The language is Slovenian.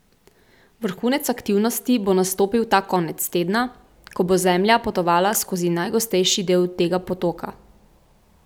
Vrhunec aktivnosti bo nastopil ta konec tedna, ko bo Zemlja potovala skozi najgostejši del tega potoka.